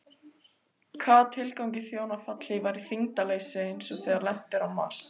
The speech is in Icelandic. Hvaða tilgangi þjóna fallhlífar í þyngdarleysi eins og þegar lent er á Mars?